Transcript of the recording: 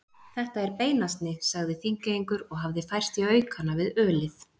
Þetta er beinasni, sagði Þingeyingur og hafði færst í aukana við ölið.